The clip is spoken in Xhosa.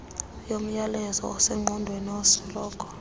yomyalezo osengqondweni endisoloko